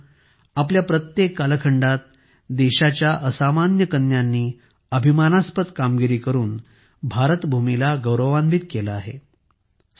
मित्रांनो आपल्या प्रत्येक कालखंडात देशाच्या असामान्य कन्यांनी अभिमानास्पद कामगिरी करून भारतभूमीला गौरवान्वित केलं आहे